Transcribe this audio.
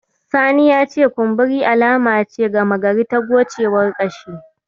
Sani ya ce kumburi alama ce gama gari ta gocewar ƙashi.